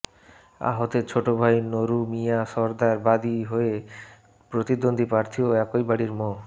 আহতের ছোট ভাই নুরু মিয়া সরদার বাদী হয়ে প্রতিদ্বন্দ্বী প্রার্থী ও একই বাড়ির মো